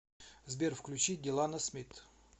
сбер включи делано смит